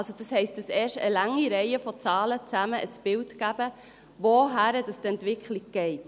Also, das heisst, dass erst eine lange Reihe von Zahlen zusammen ein Bild geben, wohin die Entwicklung geht.